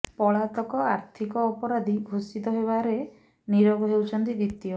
ପଳାତକ ଆର୍ଥିକ ଅପରାଧୀ ଘୋଷିତ ହେବାରେ ନୀରବ ହେଉଛନ୍ତି ଦ୍ୱିତୀୟ